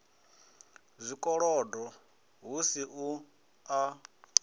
zwikolodo hu si u a